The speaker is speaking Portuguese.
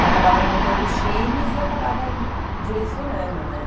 E acabava montando os times e acabava direcionando, né?